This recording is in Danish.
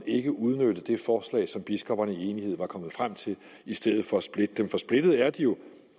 ikke udnytte det forslag som biskopperne i enighed var kommet frem til i stedet for at splitte dem for splittede er de jo